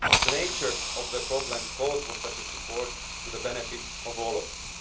The nature of the problems calls for such support, to the benefit of all of